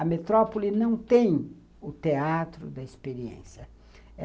A metrópole não tem o teatro da experiência.